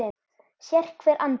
Sérhver andar